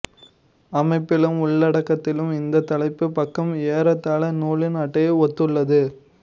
அமைப்பிலும் உள்ளடக்கத்திலும் இத் தலைப்புப் பக்கம் ஏறத்தாள நூலின் அட்டையை ஒத்துள்ளது